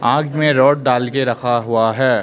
आग में रॉड डाल के रखा हुआ है।